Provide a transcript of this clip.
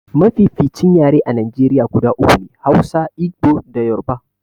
Mafificin yare a Najeriya guda uku ne, Hausa, Igbo da Yoruba.